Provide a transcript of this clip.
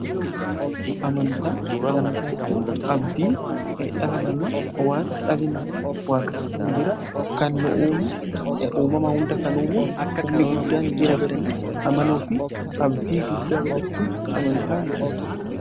Amanta jechuun abdii dhala namaa waan dhali nama waaqayyoon jira kan uumama hunda kan uume humni guddaan jira jedhanii amanuu fi abdii guddaa godhachuun amantaa jedhan.